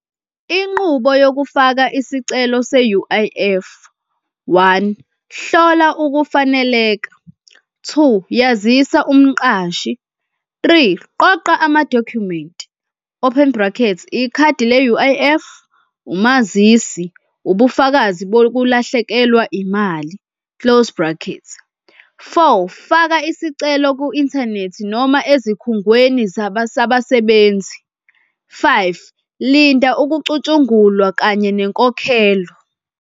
Inqubo yokufaka isicelo se-U_I_F, one, hlola ukufaneleka. Two, yazisa umqashi. Three, qoqa amadokhumenti, open brackets, ikhadi le-U_I_F, umazisi, ubufakazi bokulahlekelwa imali, close brackets. Four, faka isicelo ku-inthanethi noma ezikhungweni sabasebenzi. Five, Linda ukucutshungulwa kanye nenkokhelo.